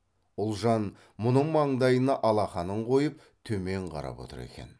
ұлжан мұның маңдайына алақанын қойып төмен қарап отыр екен